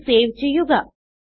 ഇത് സേവ് ചെയ്യുക